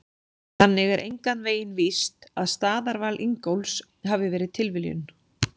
Þannig er engan veginn víst að staðarval Ingólfs hafi verið tilviljun!